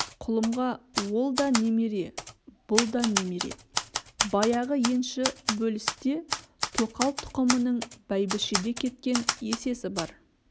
құлымға ол да немере бұл да немере баяғы енші бөлісте тоқал тұқымының бәйбішеде кеткен есесі бар